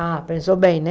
Ah, pensou bem, né?